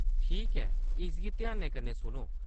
ठीक ऐ, इसगी ध्यानै कन्नै सुनो !